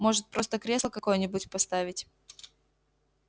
может просто кресло какое-нибудь поставить